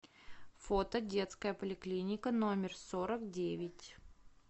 фото детская поликлиника номер сорок девять